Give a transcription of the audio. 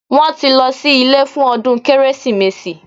Wọ́n tí lọ sí ilé fún ọdún Kérésìmesì